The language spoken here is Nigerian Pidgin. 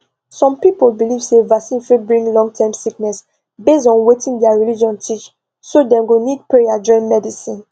some people believe say vaccine fit bring longterm sickness based on wetin their religion teach so dem go need prayer join medicine